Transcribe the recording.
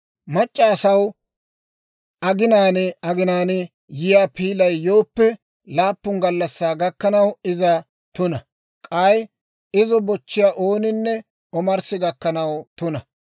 « ‹Mac'c'a asaw aginaan aginaan yiyaa piilay yooppe, laappun gallassaa gakkanaw iza tuna; k'ay izo bochchiyaa ooninne omarssi gakkanaw tuna.